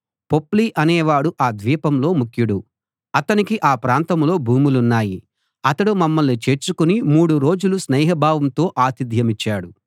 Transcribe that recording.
పొప్లి అనేవాడు ఆ ద్వీపంలో ముఖ్యుడు అతనికి ఆ ప్రాంతంలో భూములున్నాయి అతడు మమ్మల్ని చేర్చుకుని మూడు రోజులు స్నేహభావంతో ఆతిథ్యమిచ్చాడు